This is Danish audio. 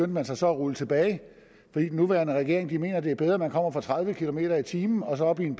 man sig så at rulle tilbage fordi den nuværende regering mener at det er bedre at man kommer fra tredive kilometer per time og så op i en